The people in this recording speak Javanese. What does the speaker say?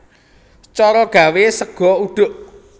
Cara gawé sega uduk